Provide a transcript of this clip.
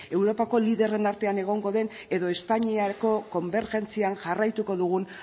europako liderren artean egongo den edo espainiako konbergentzian jarraituko dugun